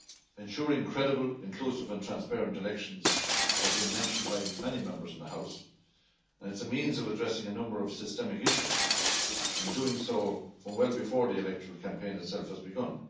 Ensuring credible, inclusive and transparent elections has been mentioned by many Members in this House, and is a means of addressing a number of systemic issues, and doing so well before the electoral campaign itself has begun.